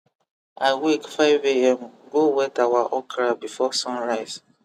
i wake 5am go wet our okra before sun rise